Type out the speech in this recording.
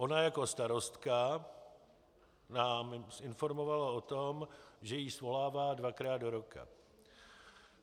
Ona jako starostka nás informovala o tom, že ji svolává dvakrát do roka.